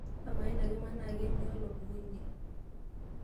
ama ena kima naa kiniolo pukunyie